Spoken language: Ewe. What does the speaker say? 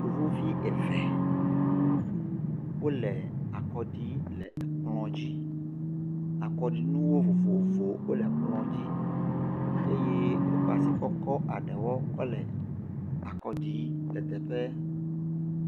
Yevuvi eve wole akɔ ɖim le kplɔ dzi. Akɔɖinuwo vovovowo wole kplɔa dzi eye wokɔ asi kɔkɔ le ade wɔ hele akɔ ɖim kɔ le teƒe.